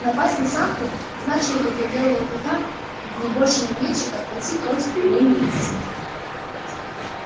напасть на самку значило бы для белого клыка не больше не меньше как пойти против велений инстинкта